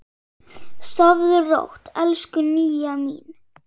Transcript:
Sofðu rótt, elsku Nýja mín.